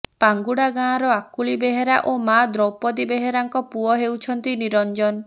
ପାଙ୍ଗୁଡା ଗାଁର ଆକୁଳି ବେହେରା ଓ ମାଆ ଦୌପଦୀ ବେହେରାଙ୍କ ପୁଅ ହେଉଛନ୍ତି ନିରଞ୍ଜନ